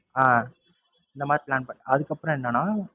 ஆஹ் இந்தமாதிரி plan பண்~ அதுக்கப்பறம் என்னன்னா,